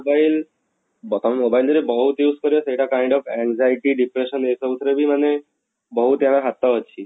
mobile ବର୍ତମାନ mobile ରେ ବହୁତ use କରିବା ସେଇଟା kind of anxiety depression ଏଇ ସବୁ ଥିରେ ବି ମାନେ ବହୁତ ଇଆର ହାତ ଅଛି